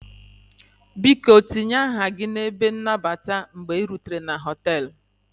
Biko tinye aha gị n'ebe nnabata mgbe ị rutere na họtelu